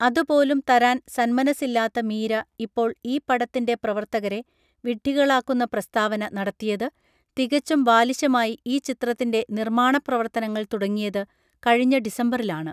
അതുപോലും തരാൻ സന്മനസ്സില്ലാത്ത മീര ഇപ്പോൾ ഈ പടത്തിന്റെ പ്രവർത്തകരെ വിഡ്ഢികളാക്കുന്ന പ്രസ്താവന നടത്തിയത് തികച്ചും ബാലിശമായി ഈ ചിത്രത്തിന്റെ നിർമ്മാണപ്രവർത്തനങ്ങൾ തുടങ്ങിയത് കഴിഞ്ഞ ഡിസംബറിലാണ്